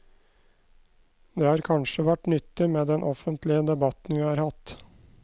Det har kanskje vært nyttig med den offentlige debatten vi har hatt.